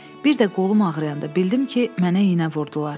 Bir də qolum ağrıyanda bildim ki, mənə iynə vurdular.